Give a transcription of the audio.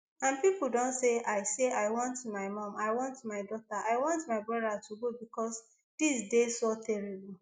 and pipo don say i say i want my mum i want my daughter i want my brother to go becos dis dey so horrible